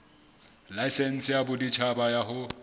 laesense ya boditjhaba ya ho